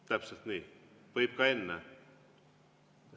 Täpselt nii, võib ka enne.